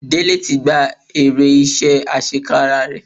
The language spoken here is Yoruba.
Dele ti gba èrè iṣẹ́ àṣekára rẹ̀.